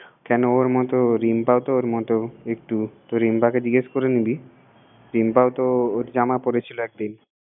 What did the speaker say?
কেন ওর মত রিম্প তো ওর মত, একটু তো রিম্প কে জিগেস করে নিবি রিম্পতো ওর জামা পড়েছিল একদিন